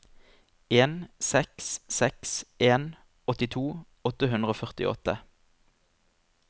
en seks seks en åttito åtte hundre og førtiåtte